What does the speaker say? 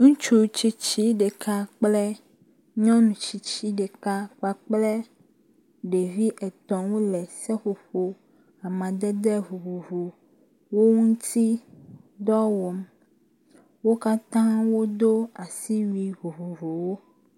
Ŋutsu titsi ɖeka kple nyɔnu tsitsi ɖeka kpakple ɖevi etɔ̃ wo le seƒoƒo amadede vovovowo ŋuti dɔ wɔm. Wo katã wodo asiwui vovovowo.